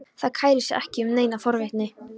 Það kærir sig ekki um neina forvitni.